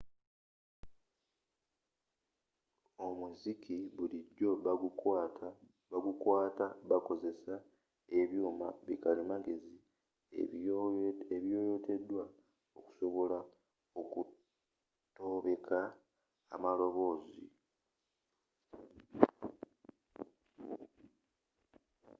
omuziki bulijjo bagukwata bakozesa ebyuma bi kalimagezi ebiyoyotedwa okusobola okutobeka amaloboozi